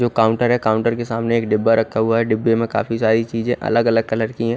जो काउन्टर है काउन्टर के सामने एक डिब्बा रखा हुआ है डिब्बे में काफी सारी चीजे अलग अलग कलर की है।